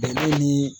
Bɛnɛ ni